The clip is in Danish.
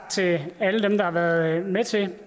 til alle dem der har været med til det